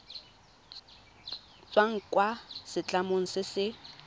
tswang kwa setlamong se se